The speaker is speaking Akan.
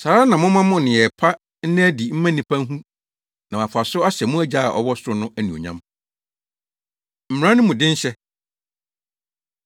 Saa ara na momma mo nneyɛe pa nna adi mma nnipa nhu na wɔafa so ahyɛ mo Agya a ɔwɔ soro no anuonyam.” Mmara No Mu Denhyɛ